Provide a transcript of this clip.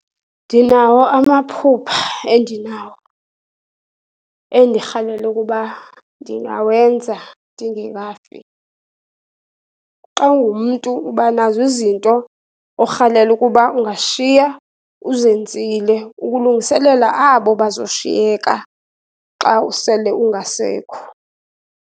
Ndinawo amaphupha endinawo, endirhalela ukuba ndingawenza ndingekafi. Xa ungumntu uba nazo izinto orhalela ukuba ungashiya uzenzile, ukulungiselela abo bazoshiyeka xa usele ungasekho.